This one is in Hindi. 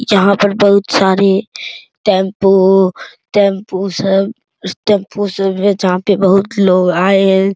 जहाँ पर बहुत सारे टैम्पू टैम्पू सब टैम्पू सब है जहाँ पे बहुत लोग आए हैं।